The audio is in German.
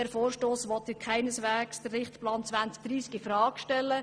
Unser Vorstoss will keineswegs den Richtplan 2030 in Frage stellen.